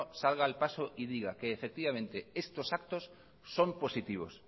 salga al paso y diga que efectivamente estos actos son positivos